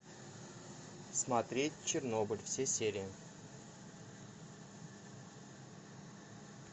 смотреть чернобыль все серии